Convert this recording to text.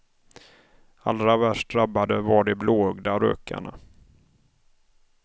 Allra värst drabbade var de blåögda rökarna.